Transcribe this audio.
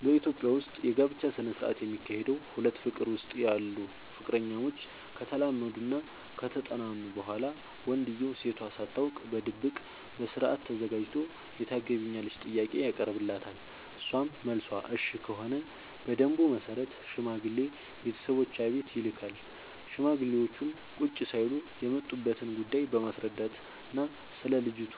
በኢትዮጵያ ዉስጥ የጋብቻ ስነ ስርዓት የሚካሄደዉ ሁለት ፍቅር ዉስጥ ያሉ ፍቅረኛሞች ከተላመዱናከተጠናኑ በኋላ ወንድዬው ሴቷ ሳታውቅ በድብቅ በስርአት ተዘጋጅቶ የታገቢኛለሽ ጥያቄ ያቀርብላታል እሷም መልሷ እሽ ከሆነ በደንቡ መሰረት ሽማግሌ ቤተሰቦቿ ቤት ይልካል ሽማግሌዎቹም ቁጭ ሳይሉ የመጡበትን ጉዳይ በማስረዳትናስለ ልጅቱ